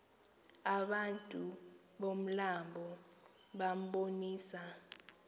abantu bomlambo bambonisa